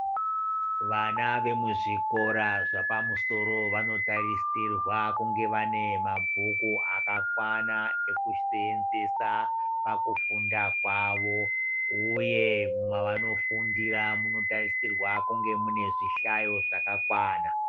Vana vemuzvikora zvapamusoro vanotarisirwa kunga vane mabhuku akakwana ekusenzesa pakufunda kwavo, uye mavanofundira munotarisirwa kunge mune zvihlayo zvakakwana.